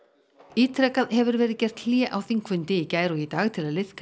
ítrekað hefur verið gert hlé á þingfundi í gær og í dag til að liðka